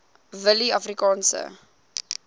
willieafrikaanse